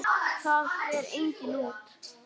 Það fer enginn út!